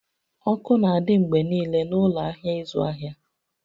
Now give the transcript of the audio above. Ọkụ n'adị mgbe niile n'ụlọ ahịa ịzụ ahịa